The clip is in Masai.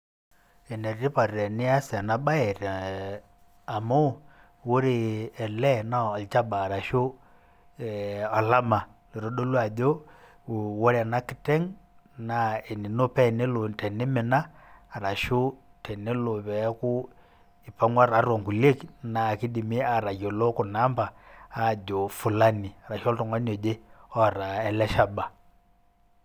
Ene tipat enias ena baye te e amu ore ele naa olchaba arashu ee olama oitodolu ajo ore ena kiteng' naa enino pee enelo tenimina arashu tenelo peeku ipang'wa tiatua nkuliek naake idimi atayiolo kuna amba ajo fulani, arashu oltung'ani oje oata ele shaba.